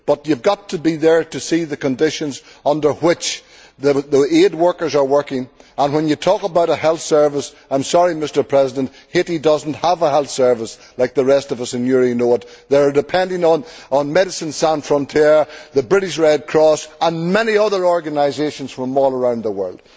But you have got to be there to see the conditions under which the aid workers are working and when you talk about a health service, I am sorry, Mr President, Haiti does not have a health service like the rest of us and you know it they are dependent on Médecins Sans Frontières, the British Red Cross and many other organisations from all around the world.